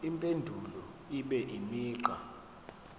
impendulo ibe imigqa